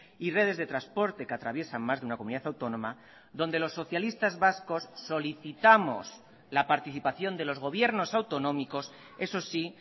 y redes de transporte que atraviesan más de una comunidad autónoma donde los socialistas vascos solicitamos la participación de los gobiernos autonómicos eso sí